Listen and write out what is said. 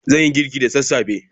Zan yi girki da sassafe.